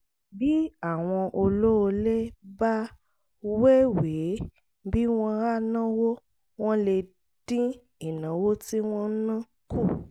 bí àwọn olóolé bá wéwèé bí wọ́n á náwó wọ́n lè dín ìnáwó tí wọ́n ń ná kù